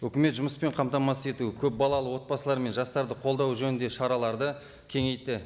өкімет жұмыспен қамтамасыз ету көпбалалы отбасылар мен жастарды қолдау жөнінде шараларды кеңейтті